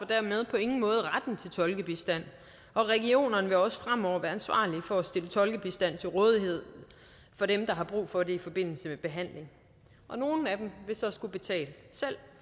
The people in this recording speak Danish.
dermed på ingen måde retten til tolkebistand og regionerne vil også fremover være ansvarlig for at stille tolkebistand til rådighed for dem der har brug for det i forbindelse med behandling nogle af dem vil så selv skulle betale